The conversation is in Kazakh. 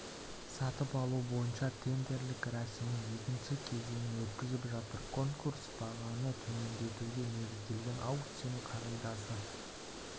сатып алу бойынша тендерлік рәсімнің екінші кезеңін өткізіп жатыр конкурс бағаны төмендетуге негізделген аукцион қағидасы